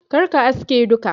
kar ka aske duka.